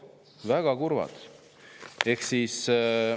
Väga kurvad!